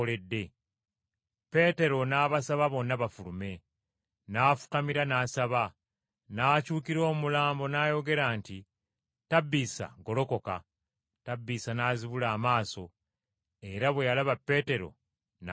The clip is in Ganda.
Peetero n’abasaba bonna bafulume, n’afukamira n’asaba. N’akyukira omulambo n’ayogera nti, “Tabbiisa golokoka.” Tabbiisa n’azibula amaaso, era bwe yalaba Peetero n’atuula.